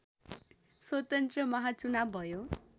स्वतन्त्र महाचुनाव भयो